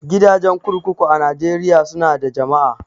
Gidajen kurkuku a Najeriya su na da jama'a